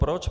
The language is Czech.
Proč?